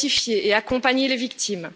identifier et accompagner les victimes.